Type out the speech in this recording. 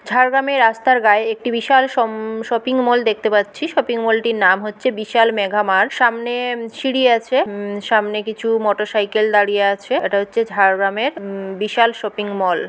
ঝাড়গ্রামে রাস্তার গায়ে একটি বিশাল শপিং মল দেখতে পাচ্ছি । শপিং মলটির নাম হচ্ছে বিশাল মেঘা মার সামনে সিরি আছ্‌ উম সামনে কিছু মোটরসাইকেল দাঁড়িয়ে আছে ওটা হচ্ছে ঝাড়গ্রামের উম বিশাল শপিং মল ।